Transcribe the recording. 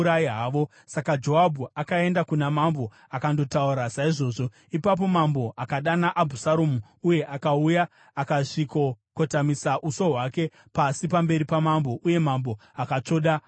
Saka Joabhu akaenda kuna mambo akandotaura saizvozvo. Ipapo mambo akadana Abhusaromu, uye akauya akasvikokotamisa uso hwake pasi pamberi pamambo. Uye Mambo akatsvoda Abhusaromu.